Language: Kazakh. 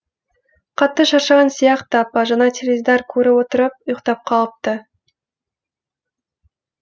қатты шаршаған сияқты апа жаңа теледидар көріп отырып ұйықтап қалыпты